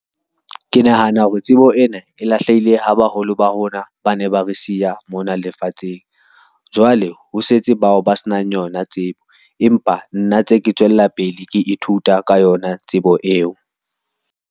Ke nahana hore tsebo ena e lahlehile ha baholo ba rona ba ne ba re siya mona lefatsheng. Jwale ho setse bao ba se nang yona tsebo, empa nna tse ke tswella pele ke ithuta ka yona tsebo eo.